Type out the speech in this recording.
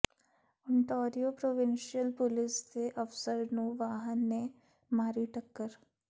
Ontario provincial police ਦੇ ਅਫ਼ਸਰ ਨੂੰ ਵਾਹਨ ਨੇ ਮਾਰੀ ਟੱਕਰ